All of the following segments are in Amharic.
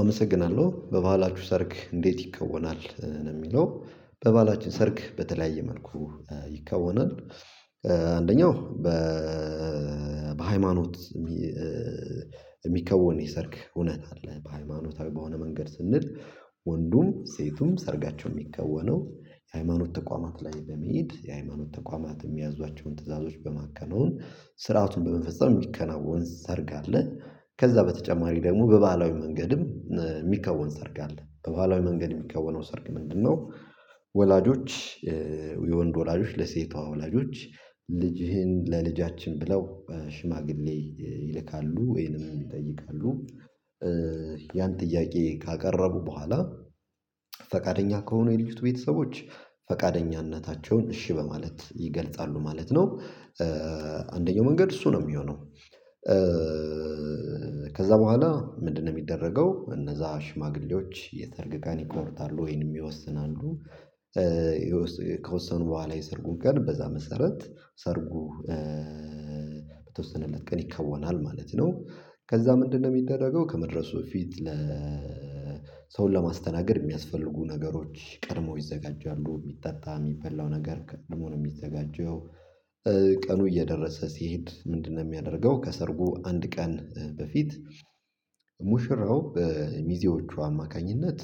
አመሰግናለሁ። "በባሕላቹ ሰርግ እንዴት ይከወናል?" ነው የሚለው። በባህላችን ሰርግ በተለያየ መልኩ ይከወናል። አንደኛው በሃይማኖት የሚከወን የሰርግ ሁነት አለ። በሃይማኖታዊ በሆነ መንገድ ስንል ወንዱም ሴቱም ሰርጋቸው የሚከወነው የሃይማኖት ተቋማት ላይ በመሄድ የሃይማኖት ተቋማት የሚያዟቸውን ትዕዛዞች በማከናውን ስርዓቱን በመፈጸም የሚከናወን ሰርግ አለ ከዛ በተጨማሪ ደግሞ በባህላዊ መንገድም የሚከወን ሰርግ አለ። በባህለዊ መንገድ የሚከወነው ሰርግ ምንድነው ወላጆች የወንድ ወላጆች ለሴቷ ወላጆች ልጅህን ለልጃችን ብለው ሽማግሌ ይልካሉ ወይንም ይጠይቃሉ ያን ጥያቄ ካቀረቡ በኋላ ፈቃደኛ ከሆኑ የልጅቱ ቤተሰቦች ፈቃደኝነታቸውን እሺ በማለት ይገልጻሉ ማለት ነው። አንደኛው መንገድ እሱ ነው የሚሆነው ከዛ በኋላ ምንድነው የሚደረገው እነዛ ሽማግሌዎች የሰርግ ቀን ይቆርጣሉ ወይንም ይወስናሉ። ከወሰኑ በኋላ የሰርጉን ቀን በዛ መሰረት ሰርጉ በተወሰነለት ቀን ይከወናል ማለት ነው። ከዛ ምንድነው የሚደረገው ከመድረሱ በፊት ለ ሰውን ለማስተናገድ የሚያስፈልጉ ነገሮች ቀድመው ይዘጋጃሉ የሚጠጣ የሚበላው ነገር ከልሙ ነው የሚዘጋጀው። ቀኑ እየደረሰ ሲሄድ ምንድነው የሚያደርገው ከሰርጉ አንድ ቀን በፊት ሙሽራው በሚዜዎቹ አማካኝነት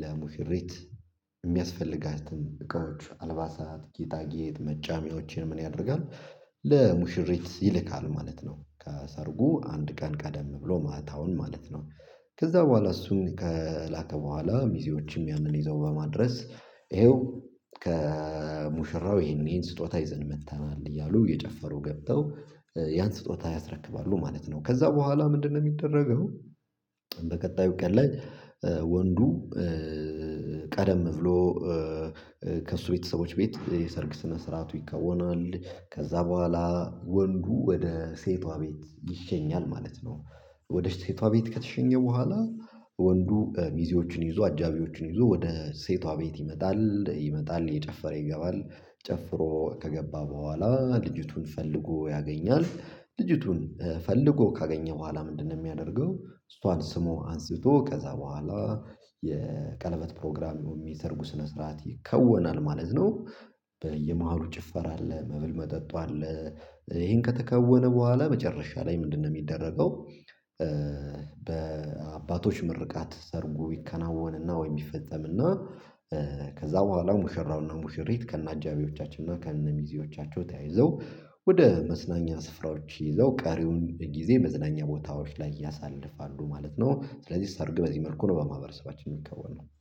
ለሙሽሪት የሚያስፈልጋትን እቃዎች፣ አልባሳት፣ ጌጣጌጥ፣ መጫሚዎችን ምን ያደርጋል ለሙሽሪት ይልካል ማለት ነው። ከሰርጉ አንድ ቀን ቀደም ብሎ ማታውን ማለት ነው። ከዛ በኋላ እሱን ከላከ በኋላ ሚዜዎችም ያንን ይዘው በማድረስ ይኸው ከሙሽራው ይሄን ይሄን ስጦታ ይዘን መጥተናል እያሉ እየጨፈሩ ገብተው ያን ስጦታ ያስረክባሉ ማለት ነው። ከዛ በኋላ ምንድነው የሚደረገው በቀጣዩ ቀን ላይ ወንዱ ቀደም ብሎ ከእሱ ቤተሰቦች ቤት የሰርግ ስነ ስርዓቱ ይከወናል ከዛ በኋላ ወንዱ ወደ ሴቷ ቤት ይሸኛል ማለት ነው። ወደ ሴቷ ቤት ከተሸኘ በኋላ ወንዱ ሚዜዎቹን ይዞ አጃቢዎችን ይዞ ወደ ሴቷ ቤት ይመጣል፣ ይመጣል እየጨፈረ ይገባል፣ ጨፍሮ ከገባ በኋላ ልጅቱን ፈልጎ ያገኛል። ልጅቱን ፈልጎ ካገኘ በኋላ ምንድነው የሚያደርገው እሷን ስሞ አንስቶ ከዛ በኋላ የቀለበት ፕሮግራም ወይም የሰርጉ ስነ ስርዓት ይከወናል ማለት ነው። በየመሃሉ ጭፈር አለ መብል መጠጡ አለ ይሄን ከተከወነ በኋላ መጨረሻ ላይ ምንድነው ሚደረገው በአባቶች ምርቃት ሰርጉ ይከናወንና ወይ ይፈጸምና እና ከዛ በኋላ ሙሽራውና ሙሽሪት ከነ አጃቢዎቻቸው እና ከነ ሚዜዎቻቸው ተያይዘው ወደ መዝናኛ ስፍራዎች ይዘው ቀሪውን ጊዜ መዝናኛ ቦታዎች ላይ ያሳልፋሉ ማለት ነው። ስለዚህ ሰርግ በዚህ መልኩ ነው በማህበረሰባችን የሚከወነው።